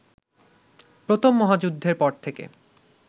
প্রথম মহাযুদ্ধের পর থেকে